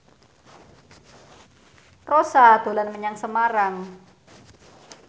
Rossa dolan menyang Semarang